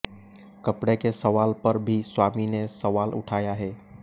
कपडे़ के सवाल पर भी स्वामी ने सवाल उठाया है